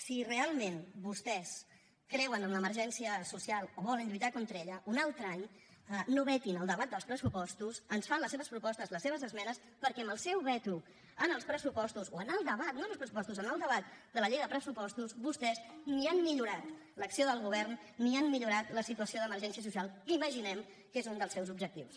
si realment vostès creuen en l’emergència social o volen lluitar contra ella un altre any no vetin el debat dels pressupostos ens fan les seves propostes les seves esmenes perquè amb el seu veto en els pressupostos o en el debat no en el pressupostos en el debat de la llei de pressupostos vostès ni han millorat l’acció del govern ni han millorat la situació d’emergència social que imaginem que és un dels seus objectius